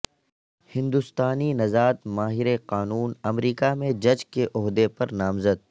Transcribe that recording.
ہندوستانی نژاد ماہر قانون امریکہ میں جج کے عہدہ پر نامزد